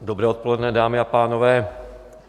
Dobré odpoledne, dámy a pánové.